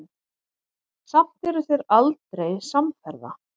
Samt eru þeir aldrei samferða.